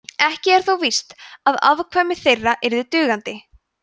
ekki er þó víst að afkvæmi þeirra yrðu dugandi